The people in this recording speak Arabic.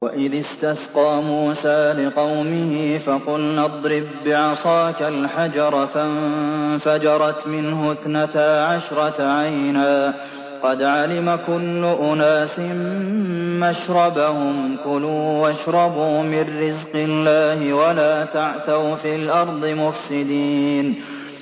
۞ وَإِذِ اسْتَسْقَىٰ مُوسَىٰ لِقَوْمِهِ فَقُلْنَا اضْرِب بِّعَصَاكَ الْحَجَرَ ۖ فَانفَجَرَتْ مِنْهُ اثْنَتَا عَشْرَةَ عَيْنًا ۖ قَدْ عَلِمَ كُلُّ أُنَاسٍ مَّشْرَبَهُمْ ۖ كُلُوا وَاشْرَبُوا مِن رِّزْقِ اللَّهِ وَلَا تَعْثَوْا فِي الْأَرْضِ مُفْسِدِينَ